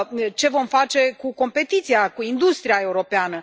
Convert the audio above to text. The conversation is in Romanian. Ce vom face cu competiția, cu industria europeană?